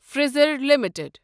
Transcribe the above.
فزر limited